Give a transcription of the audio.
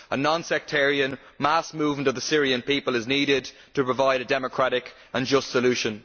A non sectarian mass movement of the Syrian people is needed to provide a democratic and just solution.